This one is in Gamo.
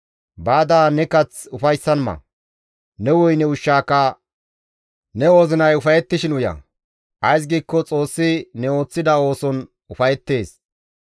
Baada ne kath ufayssan ma; ne woyne ushshaaka ne wozinay ufayettishin uya; ays giikko Xoossi ne ooththida ooson ufayettees.